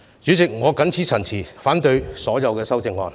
主席，我謹此陳辭，反對所有修正案。